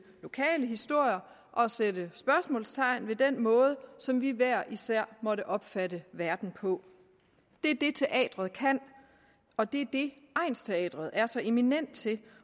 lokale historier og sætte spørgsmålstegn ved den måde som vi hver især måtte opfatte verden på det er det teatret kan og det er det egnsteatret er så eminent til